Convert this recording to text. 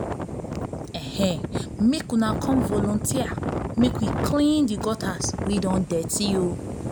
make una come volunteer make we clean the gutters wey don dirty